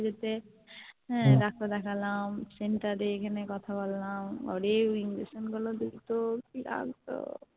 যেতে যেতে হ্যাঁ Doctor দেখালাম Center এ এখানে কথা বললাম পরে ওই Injection গুলো দিতো কি লাগতো